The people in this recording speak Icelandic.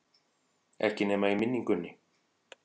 Ekki nema í minningunni.